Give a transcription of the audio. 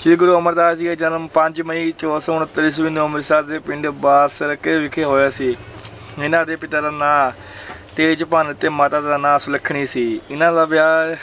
ਸ੍ਰੀ ਗੁਰੂ ਅਮਰਦਾਸ ਜੀ ਦਾ ਜਨਮ ਪੰਜ ਮਈ, ਚੌਦਾਂ ਸੌ ਉਣੱਤਰ ਈਸਵੀ ਨੂੰ ਅੰਮ੍ਰਿਤਸਰ ਦੇ ਪਿੰਡ ਬਾਸਰਕੇ ਵਿਖੇ ਹੋਇਆ ਸੀ ਇਹਨਾਂ ਦੇ ਪਿਤਾ ਦਾ ਨਾਂ ਤੇਜਭਾਨ ਅਤੇ ਮਾਤਾ ਦਾ ਨਾਂ ਸੁਲੱਖਣੀ ਸੀ, ਇਹਨਾਂ ਦਾ ਵਿਆਹ